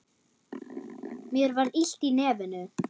Mér var illt í nefinu.